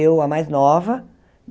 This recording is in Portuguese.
Eu, a mais nova.